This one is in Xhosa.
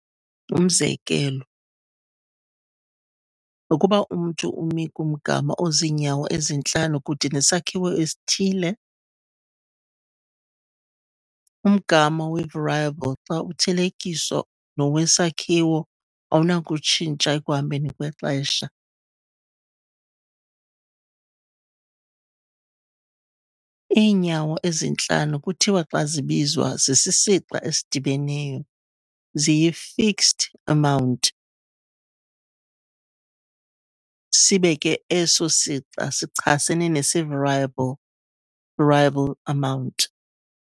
Umzekelo, ukuba umntu umi kumgama oziinyawo ezi-5 kude nesakhiwo esithile, umgama wevariable xa uthelekiswa nowesakhiwo awunakutshintsha ekuhambeni kwexesha. Iinyawo ezi-5 kuthiwa xa zibizwa zisisixa esidibeneyo, ziyifixed amount, sibe ke eso sixa sichasene nesevariable, variable amount.